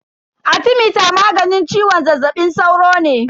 Arthemeter maganin ciwon zazzabin sauro ne.